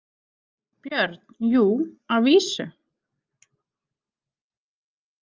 BJÖRN: Jú, að vísu.